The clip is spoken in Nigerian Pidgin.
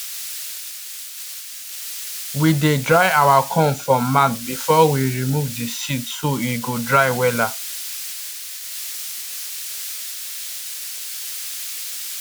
we dey dry our corn for mat before we remove the seed so e go dry wella